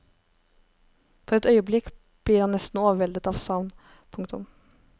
For et øyeblikk blir han nesten overveldet av savn. punktum